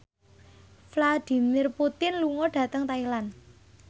Vladimir Putin lunga dhateng Thailand